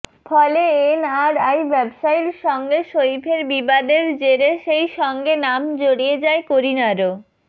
ফলে এনআরআই ব্যবসায়ীর সঙ্গে সইফের বিবাদের জেরে সেই সঙ্গে নাম জড়িয়ে যায় করিনারও